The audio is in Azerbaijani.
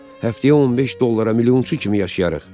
Həftəyə 15 dollara milyonçu kimi yaşayarıq.